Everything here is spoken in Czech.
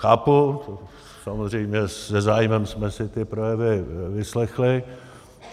Chápu, samozřejmě se zájmem jsme si ty projevy vyslechli.